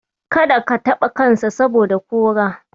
Kada ka taɓa kansa, saboda kora.